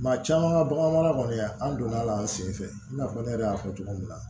Maa caman ka bagan kɔni an donna an senfɛ i n'a fɔ ne yɛrɛ y'a fɔ cogo min na